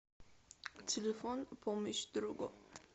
телефон помощь другу